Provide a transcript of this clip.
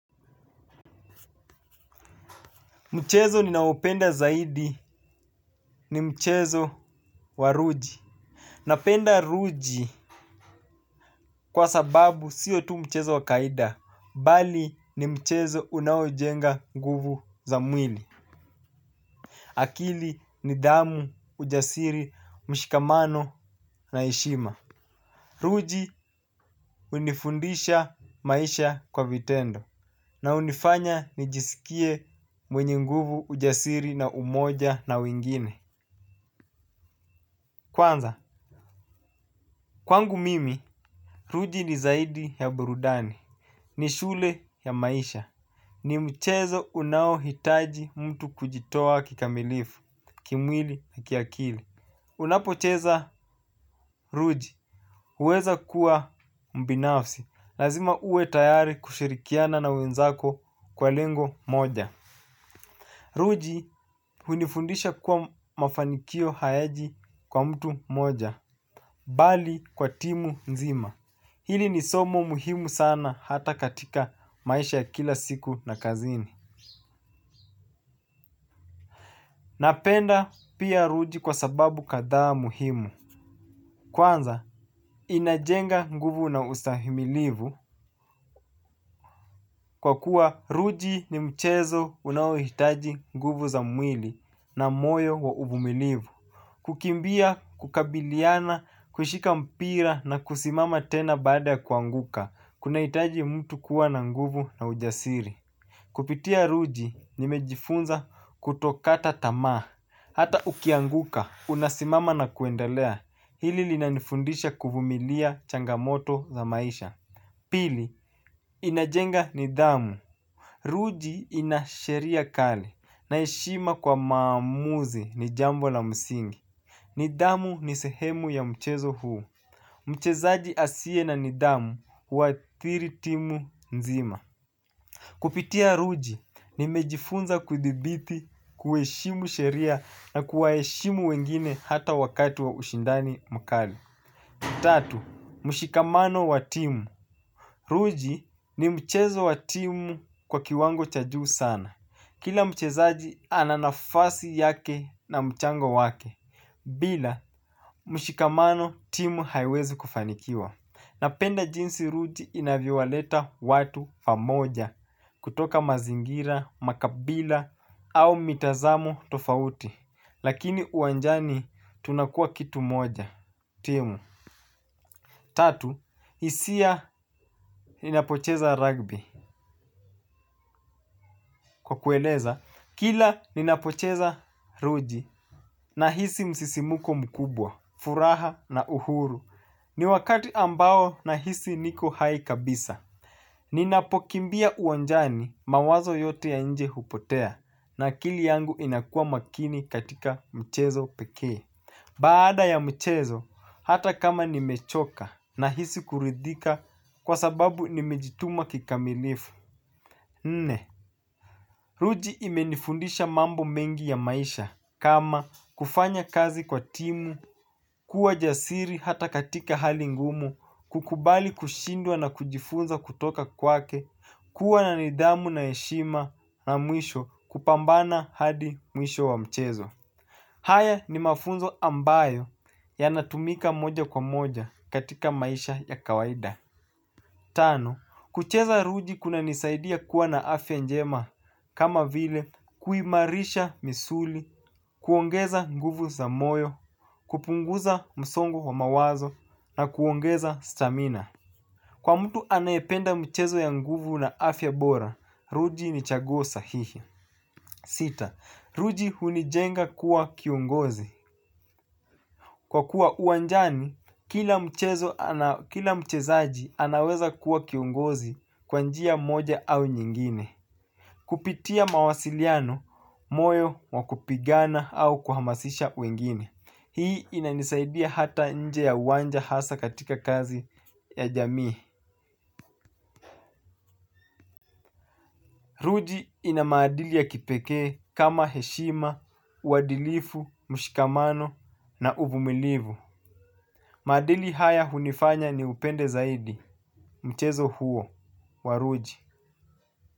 Mchezo ninaopenda zaidi ni mchezo wa ruji. Napenda ruji kwa sababu sio tu mchezo wa kawaida, bali ni mchezo unaojenga nguvu za mwili. Akili, nidhamu, ujasiri, mshikamano na heshima. RUJI unifundisha maisha kwa vitendo. Na hunifanya nijisikie mwenye nguvu, ujasiri na umoja na wengine. Kwanza, kwangu mimi ruji ni zaidi ya burudani, ni shule ya maisha. Ni mchezo unaohitaji mtu kujitoa kikamilifu, kimwili na kiakili. Unapocheza ruji huweza kuwa mbinafsi. Lazima uwe tayari kushirikiana na wenzako kwa lengo moja. Ruji hunifundisha kuwa mafanikio hayaji kwa mtu mmoja. Bali kwa timu nzima. Hili ni somo muhimu sana hata katika maisha ya kila siku na kazini. Napenda pia ruji kwa sababu kadhaa muhimu. Kwanza, inajenga nguvu na ustahimilivu kwa kuwa ruji ni mchezo unaohitaji nguvu za mwili na moyo wa uvumilivu. Kukimbia, kukabiliana, kushika mpira na kusimama tena baada ya kuanguka. Kunahitaji mtu kuwa na nguvu na ujasiri. Kupitia ruji nimejifunza kutokata tamaa, hata ukianguka, unasimama na kuendelea, hili linanifundisha kuvumilia changamoto za maisha. Pili, inajenga nidhamu. Ruji ina sheria kali, na heshima kwa maamuzi ni jambo la msingi. Nidhamu ni sehemu ya mchezo huu. Mchezaji asiye na nidhamu huathiri timu nzima. Kupitia ruji, nimejifunza kudhibiti, kuheshimu sheria na kuwaheshimu wengine hata wakati wa ushindani mkali. Tatu. Mshikamano wa timu. Ruji ni mchezo wa timu kwa kiwango cha juu sana. Kila mchezaji ana nafasi yake na mchango wake. Bila mshikamano timu haiwezi kufanikiwa. Napenda jinsi ruji inavyowaleta watu pamoja, kutoka mazingira, makabila au mitazamo tofauti. Lakini uwanjani tunakua kitu moja. Tatu. Hisia ninapocheza rugby. Kwa kueleza, kila ninapocheza ruji, nahisi msisimuko mkubwa, furaha na uhuru. Ni wakati ambao nahisi niko hai kabisa. Ninapokimbia uwanjani mawazo yote ya nje hupotea na akili yangu inakua makini katika mchezo pekee. Baada ya mchezo, hata kama nimechoka nahisi kuridhika kwa sababu nimejituma kikamilifu. Nne, ruji imenifundisha mambo mengi ya maisha kama kufanya kazi kwa timu, kuwa jasiri hata katika hali ngumu, kukubali kushindwa na kujifunza kutoka kwake, kuwa na nidhamu na heshima na mwisho kupambana hadi mwisho wa mchezo. Haya ni mafunzo ambayo yanatumika moja kwa moja katika maisha ya kawaida. Tano, kucheza ruji kunanisaidia kuwa na afya njema kama vile kuimarisha misuli, kuongeza nguvu za moyo, kupunguza msongo wa mawazo na kuongeza stamina. Kwa mtu anayependa mchezo ya nguvu na afya bora, ruji ni chaguo sahihi. Sita, ruji hunijenga kuwa kiongozi. Kwa kuwa uwanjani, kila mchezaji anaweza kuwa kiongozi kwa njia moja au nyingine. Kupitia mawasiliano, moyo wa kupigana au kuhamasisha wengine. Hii inanisaidia hata nje ya uwanja hasa katika kazi ya jamii. Ruji ina maadili ya kipekee kama heshima, uadilifu, mshikamano na uvumilivu. Maadili haya hunifanya niupende zaidi. Mchezo huo wa ruji.